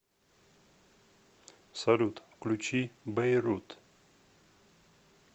салют включи бэйрут